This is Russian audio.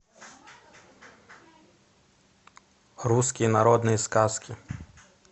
русские народные сказки